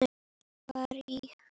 Ég var í